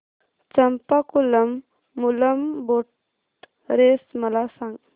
Champakulam Moolam boat race मला सांग